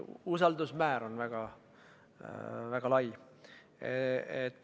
Usaldusmäär on väga lai.